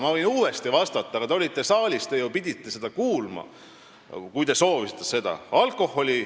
Ma võin uuesti vastata, ehkki te olite saalis ja pidite seda kuulma, kui te soovisite.